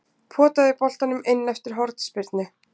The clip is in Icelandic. Potaði boltanum inn eftir hornspyrnu.